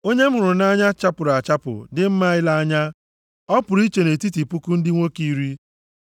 Onye m hụrụ nʼanya chapụrụ achapụ, dị mma ile anya. Ọ pụrụ iche nʼetiti puku ndị nwoke iri.